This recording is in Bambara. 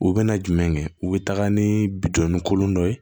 U bɛna jumɛn kɛ u bɛ taga ni bitɔn ni kolon dɔ ye